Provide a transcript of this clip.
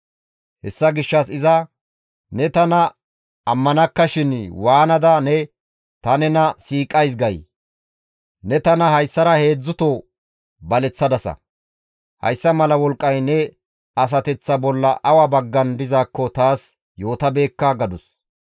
Hessa gishshas iza, «Ne tana ammanakkashin waanada ne, ‹Ta nena siiqadis› gay? Ne tana hayssara heedzdzuto baleththadasa. Hayssa mala wolqqay ne asateththaa bolla awa baggan dizaakko taas yootabeekka» gadus.